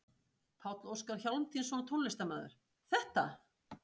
Páll Óskar Hjálmtýsson, tónlistarmaður: Þetta?